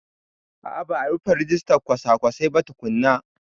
A a ba a rufe rijistan kwasa-kwasai ba tukunna.